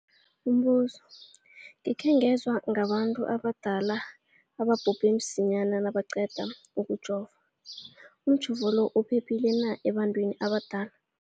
Umbuzo, gikhe ngezwa ngabantu abadala ababhubhe msinyana nabaqeda ukujova. Umjovo lo uphephile na ebantwini abadala?